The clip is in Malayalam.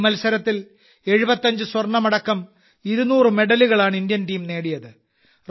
ഈ മത്സരത്തിൽ 75 സ്വർണമടക്കം 200 മെഡലുകളാണ് ഇന്ത്യൻ ടീം നേടിയത്